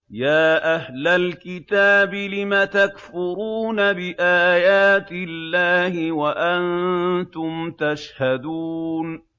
يَا أَهْلَ الْكِتَابِ لِمَ تَكْفُرُونَ بِآيَاتِ اللَّهِ وَأَنتُمْ تَشْهَدُونَ